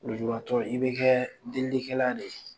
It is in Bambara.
Lujuratɔ i bɛ kɛ delikɛla de ye!